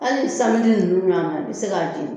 Hali nunnu man kaan, i bɛ se k'a di.